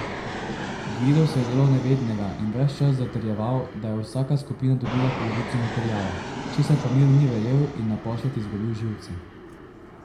Gvido se je delal nevednega in ves čas zatrjeval, da je vsaka skupina dobila polovico materiala, česar pa Miro ni verjel in naposled izgubil živce.